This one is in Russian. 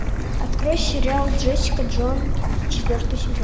открой сериал джессика джонс четвертый сезон